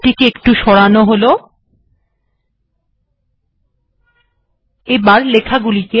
এটিকে এখানে সরানো যাক